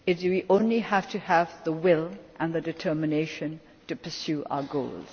We only have to have the will and the determination to pursue our goals.